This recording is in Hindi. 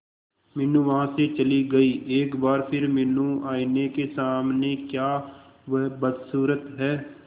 मीनू वहां से चली गई एक बार फिर मीनू आईने के सामने क्या वह बदसूरत है